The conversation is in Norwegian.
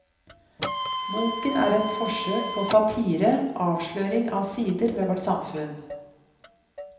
Boken er et forsøk på satire, avsløring av sider ved vårt samfunn.